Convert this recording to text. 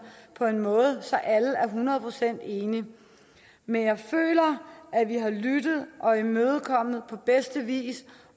på en måde så alle er hundrede procent enige men jeg føler at vi har lyttet og imødekommet på bedste vis